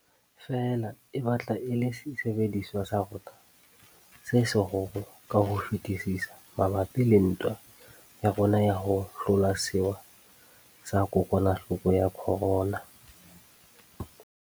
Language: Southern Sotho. Feela e batla e le sesebediswa sa rona se seholo ka ho fetisisa mabapi le ntwa ya rona ya ho hlola sewa sa kokwanahloko ya corona.